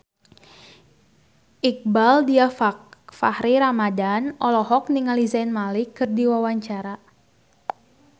Iqbaal Dhiafakhri Ramadhan olohok ningali Zayn Malik keur diwawancara